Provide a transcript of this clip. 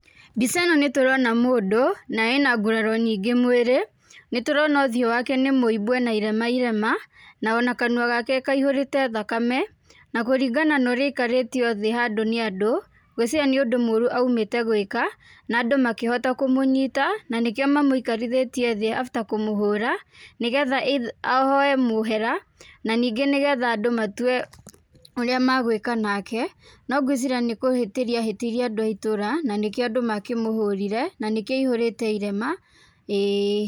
Mbica ĩno nĩ tũrona mũndũ, na ena nguraro nyingĩ mwĩrĩ, nĩ tũrona ũthiũ wake nĩ mũimbu ena irema irema, na ona kanua gake kaihũrĩte thakame, na kũringana na ũrĩa aikarĩtio thĩ handũ nĩ andũ, ngwĩciria nĩ ũndũ mũũru aumĩte gwĩka, na andũ makĩhota kũmũnyita, na nĩ kĩo mamũikarithĩtie thĩ after kũmũhũra nĩgetha ahoye mũhera, na ningĩ nĩ getha andũ matue ũrĩa magwĩka nake. No ngwĩciria nĩ kũhĩtĩria ahĩtĩirie andũ a itũũra na nĩkĩo andũ makĩmũhũrire na nĩkĩo aihũrĩte irema ĩĩ.